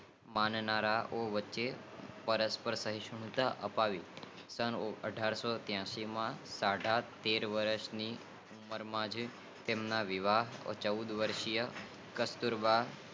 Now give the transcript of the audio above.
માનવતાઓ વચ્ચે પરસ્પર સહીસુલતા અપનાવી સનઠારશોત્યાસી માં તેમના સાડાતેર વર્ષ ની ઉમર માં તેમના વિવાહ ચૌદ વશીય કસ્તુરબા